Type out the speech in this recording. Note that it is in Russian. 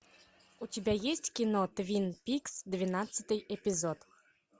у тебя есть кино твин пикс двенадцатый эпизод